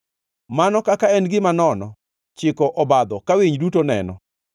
Mano kaka en gima nono chiko obadho ka winy duto neno.